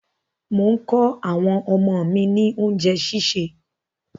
Mò kọ àwọn ọmọ mí ní oúnjẹ́ sísè.